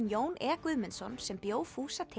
Jón e Guðmundsson sem bjó fúsa til